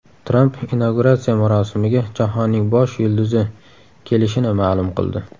Tramp inauguratsiya marosimiga jahonning bosh yulduzi kelishini ma’lum qildi.